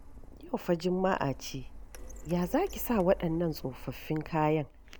Yau fa Juma'a ce, ya za ki sa waɗannan tsofaffin kayan?